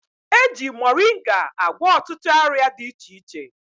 Eji moringa agwọ ọtụtụ ọrịa dị iche iche